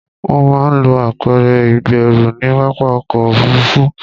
Wọ́n máa ń lo apẹ̀rẹ̀ ìgbẹ́rù ní pápá ọkọ̀ òfuruufú.